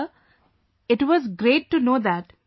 Sir, it was great to know that